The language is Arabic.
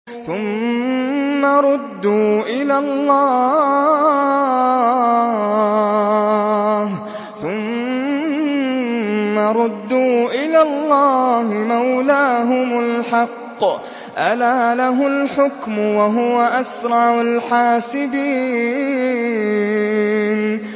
ثُمَّ رُدُّوا إِلَى اللَّهِ مَوْلَاهُمُ الْحَقِّ ۚ أَلَا لَهُ الْحُكْمُ وَهُوَ أَسْرَعُ الْحَاسِبِينَ